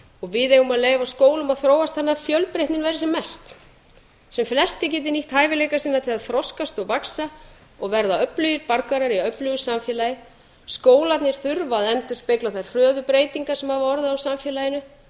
og við eigum að leyfa skólum að þróast að fjölbreytni verði sem mest sem flestir geti nýtt hæfileika sýna til að þroskast og vaxa og verða öflugir borgarar í öflugu samfélagi skólarnir þurfa að endurspegla þær hröðu breytingar sem hafa orðið á samfélaginu